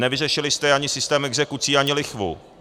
Nevyřešili jste ani systém exekucí, ani lichvu.